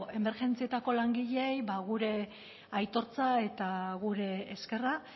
emergentzietako langileei ba gure aitortza eta gure eskerra